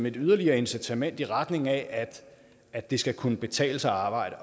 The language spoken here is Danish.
et yderligere incitament i retning af at det skal kunne betale sig at arbejde